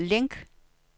link